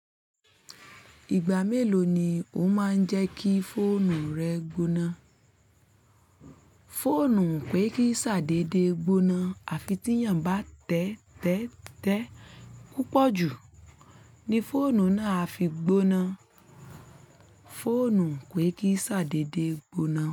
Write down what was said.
Ìgbà mélòó ni ó máa ń jẹ́ kí fóònù rẹ gbóná? Fóònù pé kí sadé dedé gbóná. Àfi tí èèyàn bá tẹ́tẹ́ tẹ́tẹ́ púpọ̀ jù ni fóònù náà á fi gbóná. Fóònù pé kí sadé dé gbóná.